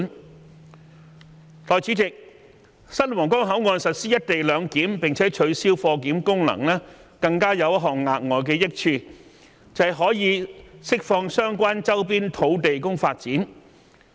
代理主席，新皇崗口岸實施"一地兩檢"，並取消貨檢功能，更有一項額外的益處，就是可釋放相關周邊土地供發展。